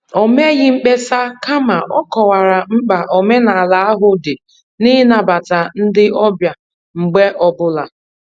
O meghị mkpesa, kama ọ kọwara mkpa omenala ahụ dị n' ịnabata ndị ọbịa mgbe ọ bụla